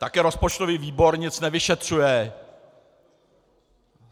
Také rozpočtový výbor nic nevyšetřuje.